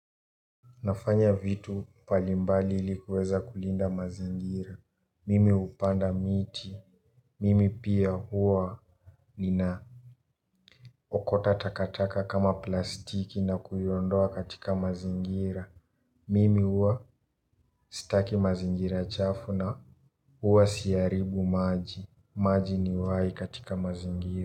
Nafanya vitu mbalimbali ili kuweza kulinda mazingira. Mimi hupanda miti. Mimi pia huwa nina okota takataka kama plastiki na kuiondoa katika mazingira. Mimi huwa sitaki mazingira chafu na huwa siharibu maji. Maji ni uhai katika mazingira.